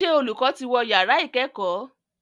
Ṣé olùkọ́ ti wọ yàrá ìkẹ́kọ̀ọ́?